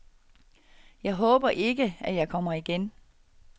Jeg håber ikke, at jeg kommer igen.